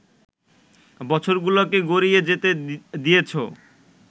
বছরগুলোকে গড়িয়ে যেতে দিয়েছো